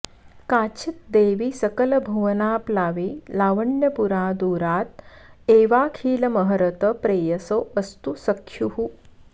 काचिद् देवी सकलभुवनाप्लावि लावण्यपुरा दूराद् एवाखिलमहरत प्रेयसो वस्तु सख्युः